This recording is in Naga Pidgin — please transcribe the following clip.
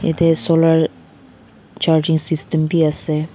yete solar charging system b ase.